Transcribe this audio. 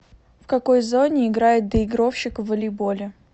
в какой зоне играет доигровщик в волейболе